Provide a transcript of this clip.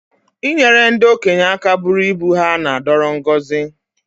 I nyere ndị okenye aka bụrụ ibu ha na-adoro ngọzi